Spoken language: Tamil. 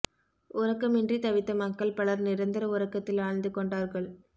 உறக்கமின்றி தவித்த மக்கள் பலர் நிரந்தர உறக்கத்தில் ஆழ்ந்து கொண்டார்கள்